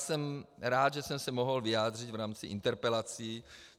Jsem rád, že jsem se mohl vyjádřit v rámci interpelací.